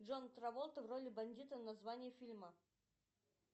джон траволта в роли бандита название фильма